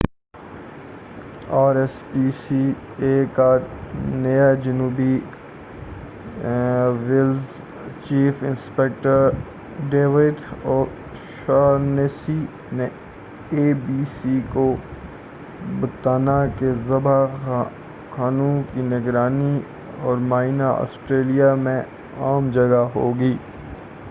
are S P C A کا نیا جنوبی Wales chief inspector David O Shaughnessy نے اے بی سی کو بتانا کہ ذبح خانوں کی نگرانی اور معائنہ آسٹریلیا میں عام جگہ میں ہوگی